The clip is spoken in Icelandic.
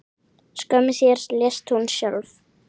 Skömmu síðar lést hún sjálf.